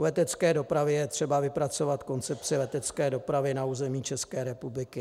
U letecké dopravy je třeba vypracovat koncepci letecké dopravy na území České republiky.